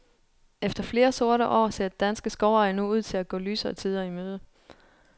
Efter flere sorte år, ser danske skovejere nu ud til at gå lysere tider i møde.